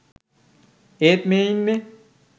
ඒත් මේ ඉන්නේ